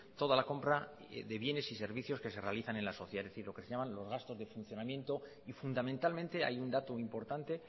toda la compra de bienes y servicios que se realizan en la sociedad es decir lo que se llaman los gasto de funcionamiento fundamentalmente hay un dato importante